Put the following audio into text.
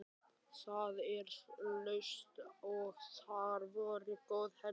Það var laust og þar voru góð herbergi.